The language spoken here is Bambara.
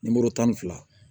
Nimoro tan ni fila